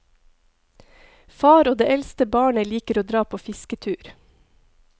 Far og det eldste barnet liker å dra på fisketur.